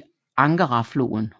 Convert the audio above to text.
på Angarafloden